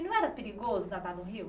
E não era perigoso nadar no rio?